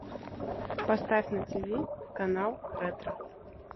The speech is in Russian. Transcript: поставь на ти ви канал ретро